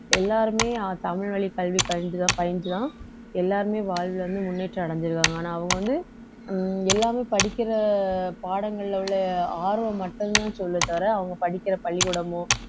எல்லாருமே ஆஹ் தமிழ் வழி கல்வி பயின்றுதான் எல்லாருமே வாழ்வில் வந்து முன்னேற்றம் அடைஞ்சிருக்காங்க ஆனா அவங்க வந்து உம் எல்லாமே படிக்கிற பாடங்கள்ல உள்ள ஆர்வம் மட்டும்தான் சொல்ல தவிர அவங்க படிக்கிற பள்ளிக்கூடமோ